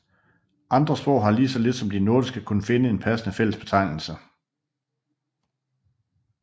Andre sprog har lige så lidt som de nordiske kunnet finde en passende fællesbetegnelse